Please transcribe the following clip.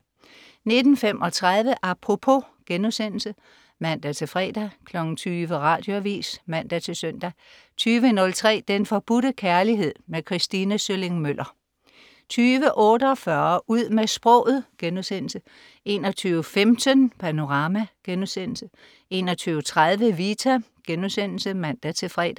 19.35 Apropos* (man-fre) 20.00 Radioavis (man-søn) 20.03 Den Forbudte Kærlighed. Kristine Sølling Møller 20.48 Ud med sproget* 21.15 Panorama* 21.30 Vita* (man-fre)